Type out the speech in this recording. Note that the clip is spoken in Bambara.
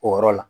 O yɔrɔ la